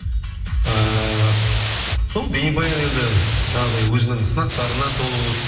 ііі сол бейнебаян енді жаңағыдай өзінің сынақтарына толы болды